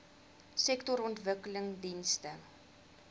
sektorontwikkelingdienste